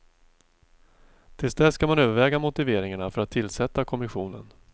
Till dess ska man överväga motiveringarna för att tillsätta kommissionen.